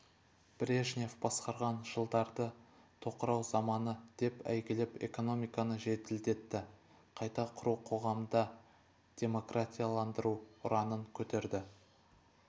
брежнев басқарған жылдарды тоқырау заманы деп әйгілеп экономиканы жеделдетіп қайта құру қоғамды демократияландыру ұранын көтерді